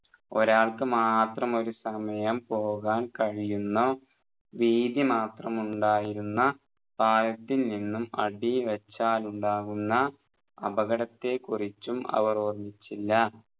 ഒരാൾക്കു മാത്രം ഒരു സമയം പോകാൻ കഴിയുന്ന വീതി മാത്രം ഉണ്ടായിരുന്ന പാലത്തിൽ നിന്നും അടിവെച്ചാലുണ്ടാവുന്ന അപകടത്തെ കുറിച്ചും അവർ ഓർമിച്ചില്ല